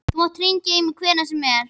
Þú mátt hringja í mig hvenær sem er.